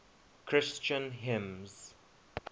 christian hymns